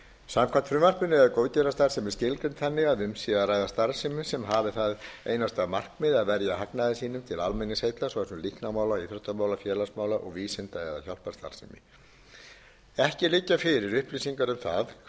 samkvæmt frumvarpinu er góðgerðarstarfsemi skilgreind þannig að um sé að ræða starfsemi sem hafi það einasta markmið að verja hagnaði sínum til almenningsheilla svo sem líknarmála íþróttamála félagsmála og vísinda eða hjálparstarfsemi ekki liggja fyrir upplýsingar um það hversu algengt er að